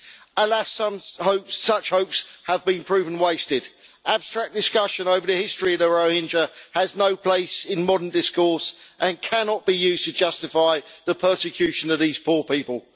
Alas, such hopes have been proven wasted. Abstract discussion over the history of the Rohingya has no place in modern discourse and cannot be used to justify the persecution of these poor people.